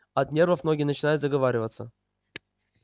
от нервов многие начинают заговариваться